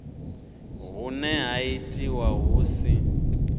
hune ha itiwa hu si